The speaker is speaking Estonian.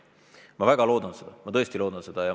Ma väga loodan seda, ma tõesti loodan seda.